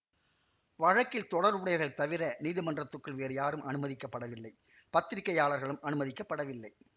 வழக்கில் தொடர்புடையவர்கள் தவிர நீதிமன்றத்துக்குள் வேறு யாரும் அனுமதிக்கப்படவில்லை பத்திரிகையாளர்களும் அனுமதிக்கப்படவில்லை